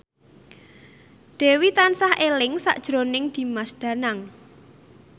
Dewi tansah eling sakjroning Dimas Danang